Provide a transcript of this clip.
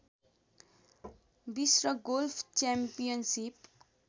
विश्व golf championship